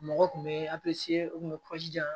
Mɔgɔ tun bɛ u kun bɛ kɔjijan